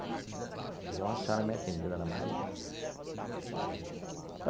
Aí veio uma senhora me atender, Ana Maria.